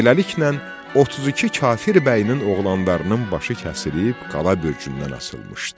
Beləliklə, 32 kafir bəyinin oğlanlarının başı kəsilib qala bürcündən asılmışdı.